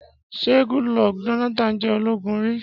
Ṣé Goodluck Jonathan jẹ́ ológun rí?